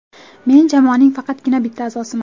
Men jamoaning faqatgina bitta a’zosiman.